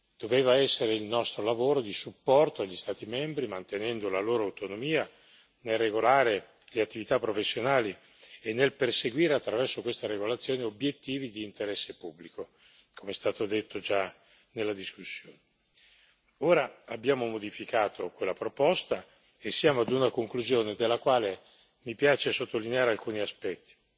Doveva essere il nostro lavoro di supporto agli Stati membri, mantenendo la loro autonomia nel regolare le attività professionali e nel perseguire, attraverso questa regolazione, obiettivi di interesse pubblico, come è stato detto già nella discussione. Ora abbiamo modificato quella proposta e siamo ad una conclusione, della quale mi piace sottolineare alcuni aspetti.